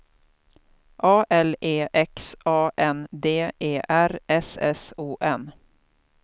A L E X A N D E R S S O N